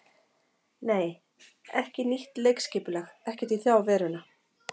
Nei, ekki nýtt leikskipulag, ekkert í þá veruna.